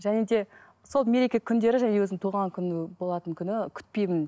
және де сол мереке күндері және өзімнің туған күні болатын күні күтпеймін